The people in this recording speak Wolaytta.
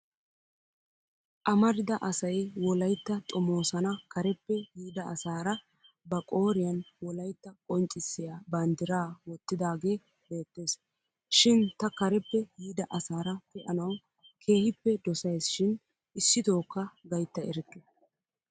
Amarida asay wolaytta xomoosana kareppe yiida asaara ba qooriyan wolaytta qonccissiya banddiraa wottidaagee beettes. Shin ta kareppe yiida asaara pee'anawu keehippe dosayis shin issitookka gaytta erikke.